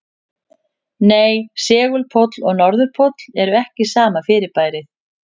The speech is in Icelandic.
Nei, segulpóll og norðurpóll eru ekki sama fyrirbærið.